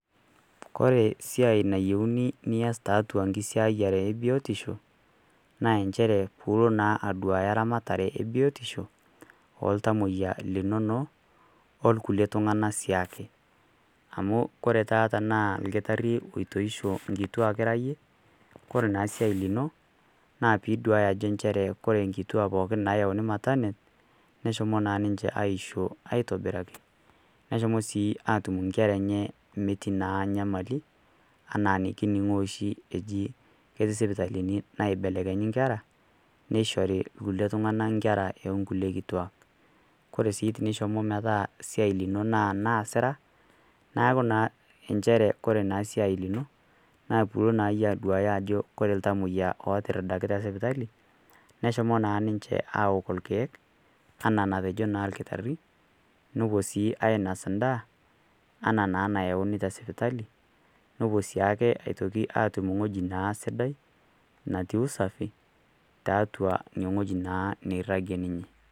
Kore siai niyouni nias tiatua enkisiayare e biotisho naa enchere piilo naa aduaya eramatare e biotisho o ltamoiya linono o lkulie tung'ana sii ake . Amu ore taata tanaa olkitari oitoisho inkitwaak ira iyie, Kore naa siai lino naa pee iduaya ake nchere ajo ore inkituak pooki naayauni matanet neshomo naa ninche aishoo aitobiraki, neshomo sii atum inkera enye metii naa nyamali, anaa nekining'oo oshi ajo ketii isipitalini naibelekenyi inkera, neishori inkulie tung'ana inkera o kulie kituak . Kore sii tinishomo metaa siai lino naa naas ira, neaku naa inchere Kore esiai lino naa pilo naa iyie aduaya ajo Kore iltamwoiya otiridakita sipitali, neshomo naa ninche aok ilkeek anaa enatejo naa olkitari, nepuo sii ainas endaa anaa naa enayiouni te sipitali, nepuo sii ake atum wueji naa sidai natii usafii tiatua one wueji naa nairagie ninye.